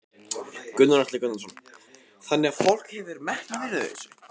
Gunnar Atli Gunnarsson: Þannig að fólk hefur metnað fyrir þessu?